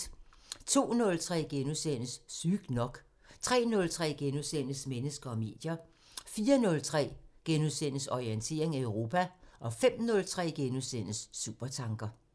02:03: Sygt nok * 03:03: Mennesker og medier * 04:03: Orientering Europa * 05:03: Supertanker *